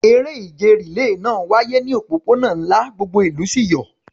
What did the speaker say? Eré ìje rìléè náà wáyé ní òpópónà ńlá, gbogbo ìlú sì yọ̀.